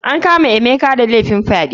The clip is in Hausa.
An kama emeka da laifin fyaɗe.